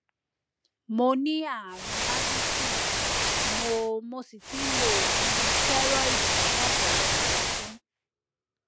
mo ní àrùn addison mo mo sì ti ń lo oògùn stẹrọìdì fún ọpọlọpọ ọdún